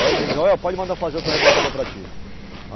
Joel, pode mandar fazer outro rebocador para ti.